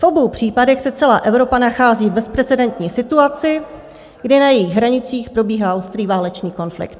V obou případech se celá Evropa nachází v bezprecedentní situaci, kdy na jejích hranicích probíhá ostrý válečný konflikt.